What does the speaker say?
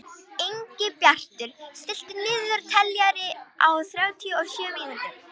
Ingibjartur, stilltu niðurteljara á þrjátíu og sjö mínútur.